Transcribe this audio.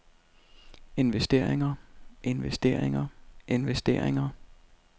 investeringer investeringer investeringer